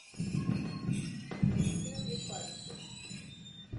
валентина припадчева